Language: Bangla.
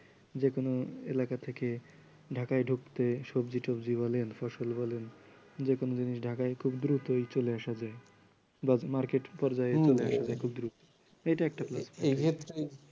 যে কোন এলাকা থেকে ঢাকায় ঢুকতে সবজি টবজি বলেন ফসল বলেন যেকোনো জিনিস ঢাকায় খুব দ্রুতই চলে আসা যায়। মার্কেট পর্যায়ে মানে খুব দ্রুত এইটা একটা plus point